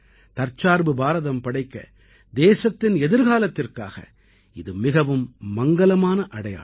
தற்சார்பு பாரதம் படைக்க தேசத்தின் எதிர்காலத்திற்காக இது மிகவும் மங்கலமான அடையாளம்